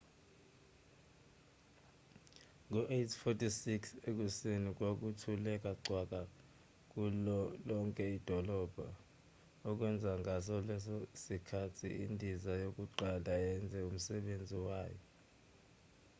ngo-8:46 ekuseni kwathuleka cwaka kulo lonke idolobha okwenza ngaso leso sikhathi indiza yokuqala yenze umsebenzi wayo